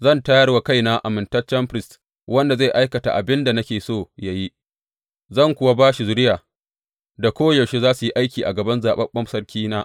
Zan tayar wa kaina amintaccen firist wanda zai aikata abin da nake so yă yi, zan kuwa ba shi zuriya da koyaushe za su yi aiki a gaban zaɓaɓɓen sarkina.